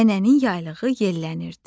Nənənin yaylığı yellənirdi.